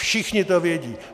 Všichni to vědí.